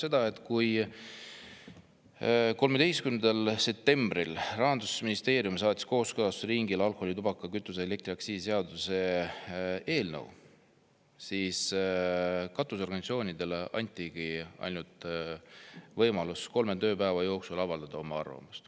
See tähendab seda, et kui 13. septembril saatis Rahandusministeerium kooskõlastusringile alkoholi‑, tubaka‑, kütuse‑ ja elektriaktsiisi seaduse eelnõu, siis katusorganisatsioonidele anti võimalus avaldada arvamust ainult kolme tööpäeva jooksul.